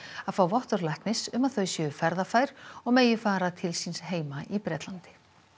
að fá vottorð læknis um að þau séu ferðafær og megi fara til síns heima í Bretlandi